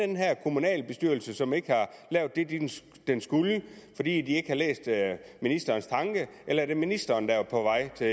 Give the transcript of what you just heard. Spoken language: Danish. den her kommunalbestyrelse som ikke har lavet det den skulle fordi den ikke har læst ministerens tanke eller er det ministeren der er på vej til